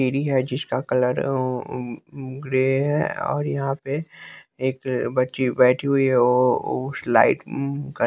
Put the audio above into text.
सीढ़ी है जिसका कलर है उ ऊं ग्रे है और और यहां पे एक बच्ची बैठी हुई है ओ उस लाइट --